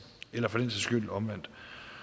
eller for den sags skyld omvendt